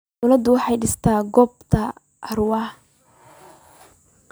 Dawladdu waxay dhistay goob taxi ee Arua.